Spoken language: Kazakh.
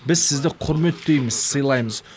біз сізді құрметтейміз сыйлаймыз